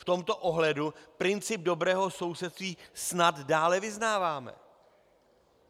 V tomto ohledu princip dobrého sousedství snad dále vyznáváme.